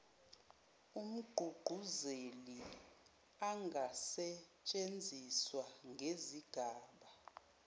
umgqugquzeli angasetshenziswa ngezigaba